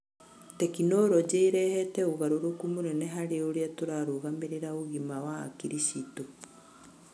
Tekinoronjĩ ĩrehete ũgarũrũku mũnene harĩ ũrĩa tũrarũgamĩrĩra ũgima wa hakiri ciitu.